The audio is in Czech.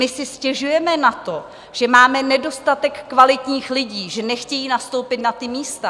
My si stěžujeme na to, že máme nedostatek kvalitních lidí, že nechtějí nastoupit na ta místa.